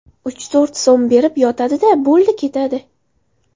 Uch–to‘rt so‘m berib, yotadi-da, bo‘ldi, ketadi.